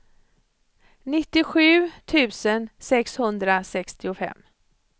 nittiosju tusen sexhundrasextiofem